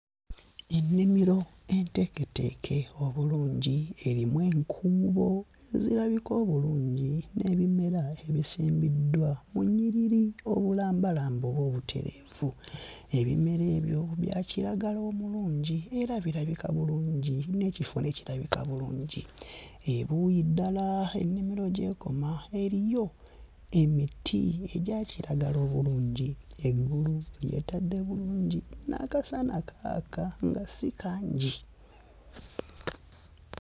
Ennimiro enteeketeeke obulungi erimu enkuubo ezirabika obulungi n'ebimera ebisimbiddwa mu nnyiriri obulambalamba oba obutereevu. Ebimera ebyo bya kiragala omulungi era birabika bulungi n'ekifo ne kirabika bulungi. Ebuuyi ddala ennimiro gy'ekoma eriyo emiti egya kiragala obulungi. Eggulu lyetadde bulungi n'akasana kaaka nga si kangi.